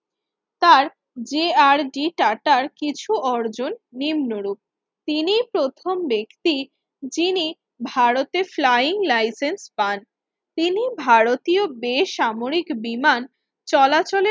তার যে R D টাটার কিছু অর্জন নিম্নরূপ তিনিই প্রথম ব্যক্তি যিনি ভারতের flying license পান তিনি ভারতীয় বেসামরিক বিমান চলাচলের